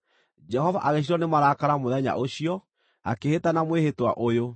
Jehova agĩcinwo nĩ marakara mũthenya ũcio, akĩĩhĩta na mwĩhĩtwa ũyũ: